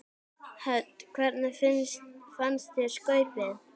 Hödd: Hvernig fannst þér skaupið?